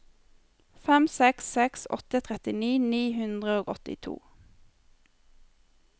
fem seks seks åtte trettini ni hundre og åttito